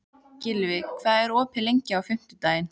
Gylfi, hvað er opið lengi á fimmtudaginn?